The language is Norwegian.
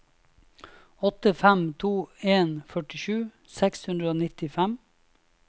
åtte fem to en førtisju seks hundre og nittifem